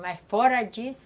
Mas fora disso,